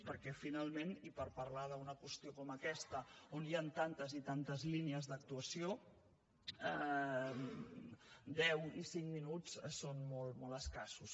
perquè finalment i per parlar d’una qüestió com aquesta on hi han tantes i tantes línies d’actuació deu i cinc minuts són molt escassos